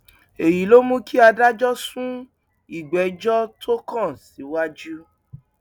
èyí ló mú kí adájọ sún ìgbẹjọ tó kàn síwájú